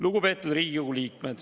Lugupeetud Riigikogu liikmed!